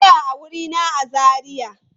Ku tsaya a wurina a Zariya!